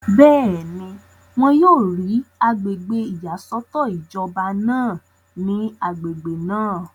bẹ́ẹ̀ni, wọn yóò rí agbègbè ìyàsọ́tọ̀ ìjọba náà ní agbègbè náà